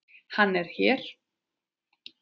Hann er hér.